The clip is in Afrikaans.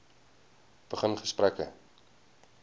begin gesprekke